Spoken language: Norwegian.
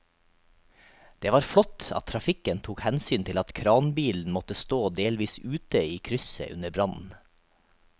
Det var flott at trafikken tok hensyn til at kranbilen måtte stå delvis ute i krysset under brannen.